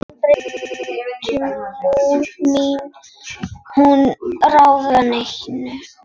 Aldrei mátti hún ráða neinu.